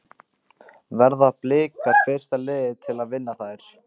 Verða Blikar fyrsta liðið til að vinna þær?